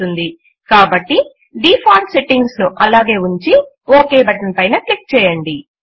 కాబట్టి default settings default settings ను అలాగే ఉంచి ఒక్ బటన్ పైన క్లిక్ చేయండి